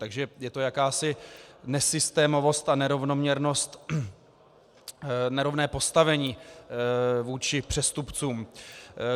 Takže je to jakási nesystémovost a nerovnoměrnost, nerovné postavení vůči přestupcům.